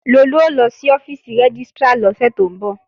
Lolú ó lọ sí ọ́fíìsì rẹ́gístrà lọ́sẹ̀ tó ń bọ̀